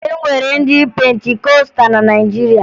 E nwere ndị Pentikọsta na Naịjirịa